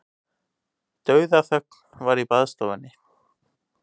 Dauðaþögn var í baðstofunni.